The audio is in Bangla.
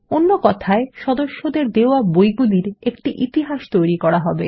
অন্য কথায় সদস্যদের দেওয়া বইগুলির একটি ইতিহাস তৈরী করা হবে